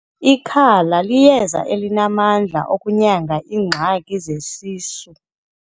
Ikhala liyeza elinamandla okunyanga iingxaki zesisu.